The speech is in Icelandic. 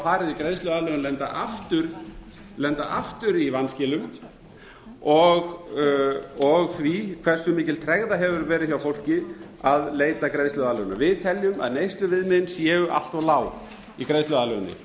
farið í greiðsluaðlögun lenda aftur í vanskilum og því hversu mikil tregða hefur verið hjá fólki að leita greiðsluaðlögunar við teljum að neysluviðmiðin séu allt lág í greiðsluaðlöguninni